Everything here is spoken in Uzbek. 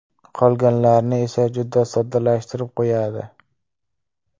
Qolganlarni esa juda soddalashtirib qo‘yadi.